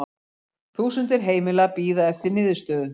Þúsundir heimila bíði eftir niðurstöðu